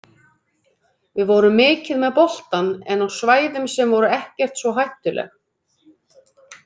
Við vorum mikið með boltann en á svæðum sem voru ekkert svo hættuleg.